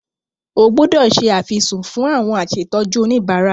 O gbúdọ̀ se àfisùn fún àwọn asètọ́jú oníbárà.